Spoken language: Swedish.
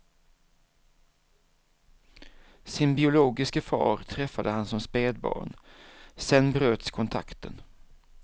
Sin biologiske far träffade han som spädbarn, sedan bröts kontakten.